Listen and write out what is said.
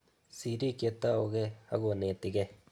Sirik che taukei ako netikei